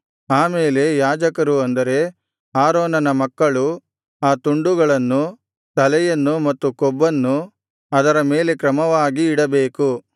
ಆಮೇಲೆ ಯಾಜಕರು ಅಂದರೆ ಆರೋನನ ಮಕ್ಕಳು ಆ ತುಂಡುಗಳನ್ನು ತಲೆಯನ್ನು ಮತ್ತು ಕೊಬ್ಬನ್ನು ಅದರ ಮೇಲೆ ಕ್ರಮವಾಗಿ ಇಡಬೇಕು